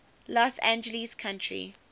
los angeles county